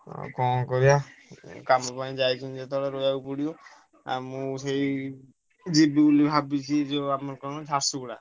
ହଁ ଆଉ କଣ କରିବା କାମ ପାଇଁ ଯାଇଛନ୍ତି ଯେତେବେଳ ରହିବାକୁ ପଡ଼ିବ ଆମକୁ ସେଇ ଯିବି ମୁଁ ଭାବୁଛି ଯୋଉ ଆମର କଣ ଝାରସୁଗୁଡ଼ା।